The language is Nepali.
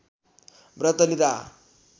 व्रत लिँदा